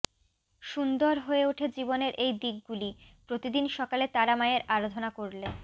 সুন্দর হয়ে ওঠে জীবনের এই দিকগুলি প্রতিদিন সকালে তারা মায়ের আরাধনা করলে